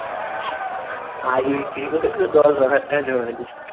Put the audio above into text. ID বিক্রি করে করে দশ বারো লাখ টাকা জমাইলি